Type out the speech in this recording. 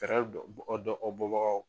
fɛrɛ dɔ bɔ bagaw.